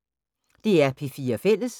DR P4 Fælles